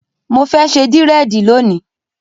Mo fẹ́ ṣe dírẹ̀dì lónìí.